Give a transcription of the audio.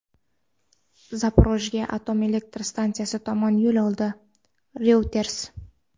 Zaporojye atom elektr stansiyasi tomon yo‘l oldi – "Reuters".